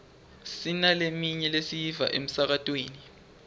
sinaleminye lesiyiva emsakatweni